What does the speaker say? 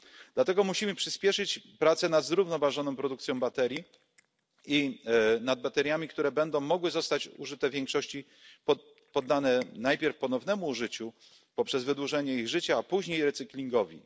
Dlatego musimy przyspieszyć prace nad zrównoważoną produkcją baterii i nad bateriami, które będą mogły zostać użyte w większym zakresie, poddane najpierw ponownemu użyciu poprzez wydłużenie ich życia, a później recyklingowi.